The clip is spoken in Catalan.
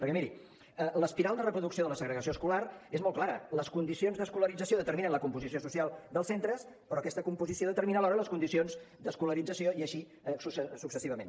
perquè miri l’espiral de reproducció de la segregació escolar és molt clara les condicions d’escolarització determinen la composició social dels centres però aquesta composició determina alhora les condicions d’escolarització i així successivament